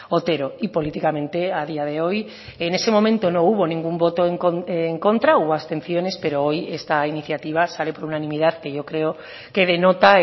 otero y políticamente a día de hoy en ese momento no hubo ningún voto en contra o abstenciones pero hoy esta iniciativa sale por unanimidad que yo creo que denota